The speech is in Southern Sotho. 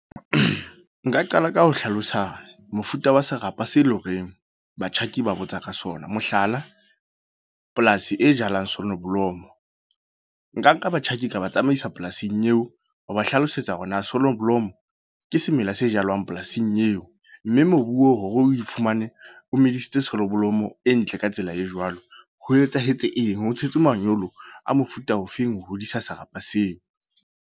Nka qala ka ho hlalosa mofuta wa serapa se eleng horeng batjhaki ba botsa ka sona. Mohlala, polasi e jalang sonoblomo. Nka nka batjhaki ka ba tsamaisa polasing eo. Ho ba hlalosetsa hore na sonoblomo ke semela se jalwang polasing eo. Mme mobu o hore oe fumane o medisitse sonoblomo ka tsela e ntle ka tsela e jwalo. Ho etsahetse eng, ho tshetse manyolo a mofuta ofeng ho hodisa serapa seo.